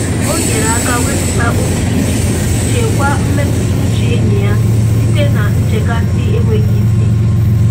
O nyere aka wepụta oke iji chekwaa mmetụtauche enyi ya site na nchekasị enweghị isi.